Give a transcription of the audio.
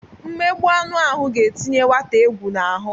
Mmegbụ anụ ahụ ga-etinye nwata egwu n'ahụ.